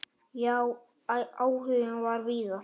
Já, áhuginn var víða.